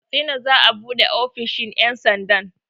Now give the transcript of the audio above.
A katsina za'a buɗe ofishin ƴan sandan